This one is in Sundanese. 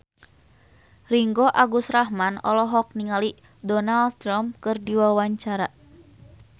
Ringgo Agus Rahman olohok ningali Donald Trump keur diwawancara